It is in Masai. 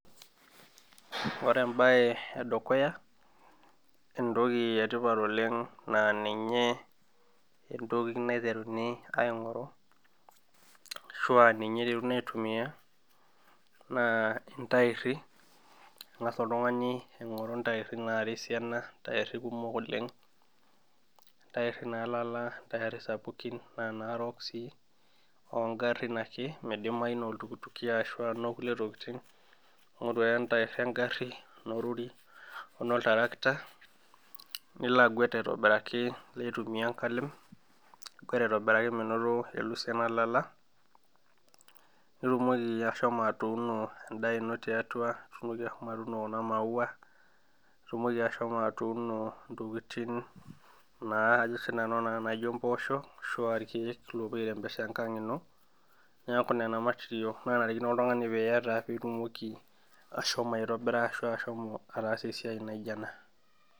Ore ebae edukuya, entoki etipat oleng na ninye entoki naiteruni aing'oru, ashua ninye iteruni aitumia, naa intairri. Eng'asa oltung'ani aing'oru intairri nara esiana, ntairri kumok oleng, ntairri nalala ntairri sapukin na narook si ogarrin ake midimayu noltukutuki ashu nokulie tokiting, ing'oru ake entair egarri, onorori ono tarakita, niko aguet aitobiraki nilo aitumia enkalem aguet aitobiraki menoto elusie nalala, nitumoki ashomo atuuno endaa ino tiatua, nitumoki ashomo atuuno kuna maua, nitumoki ashomo atuuno intokiting naa sinanu naa naijo mpoosho, ashua irkeek lopuo ai rembesha enkang ino, neeku nena matirial nenarikino oltung'ani piata pitumoki ashomo aitobira ashu ashomo ataasa esiai naijo ena.